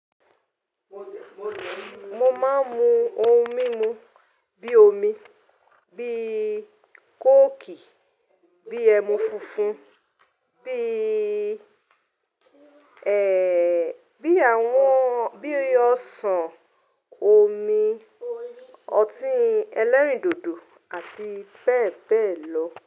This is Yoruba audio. Mo máa ń mu ohun mímu bíi omi, bíi kóòkì, bíi ẹmu funfun, bíi, ẹ́, bíi àwọn, bíi ọsàn, omi, ọtí ẹlẹ́rìndòdò àti bẹ́ẹ̀ bẹ́ẹ̀ lọ.